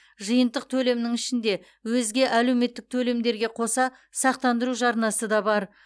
жиынтық төлемнің ішінде өзге әлеуметтік төлемдерге қоса сақтандыру жарнасы да бар